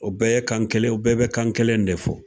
O bɛɛ ye kan kelen, u bɛɛ be kan kelen de fɔ.